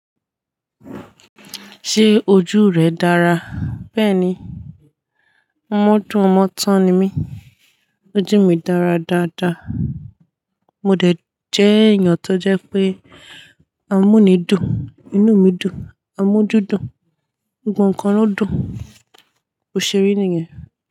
Ṣé ojú rẹ dára? Bẹ́ẹ̀ni, ọmọ dún ọmọ tán ni mí. Ojú mi dára dáadáa. Mo dẹ̀ jẹ́ èèyàn tó jẹ́ pé amúnídùn, inú mi dùn, amójúdùn, gbogbo kan lodún, bòṣèri nìyẹn.